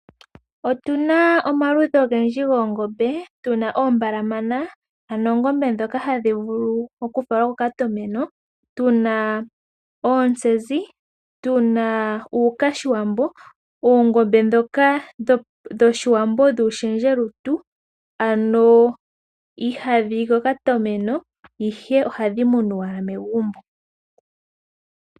Otu na omaludhi ogendji goongombe, ano oombalamana, ano oongombe ndhoka hadhi vulu okufalwa kokatomeno, tu na oontsenzi, tu na uuwambongombe, oongombe ndhoka dhOshiwambo dhuushendjelutu, ihadhi yi kokatomeno, ihe ohadhi munwa megumbo.